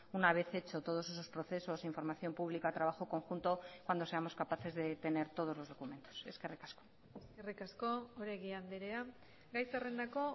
una vez hecho todos esos procesos información pública trabajo conjunto cuando seamos capaces de tener todos los documentos eskerrik asko eskerrik asko oregi andrea gai zerrendako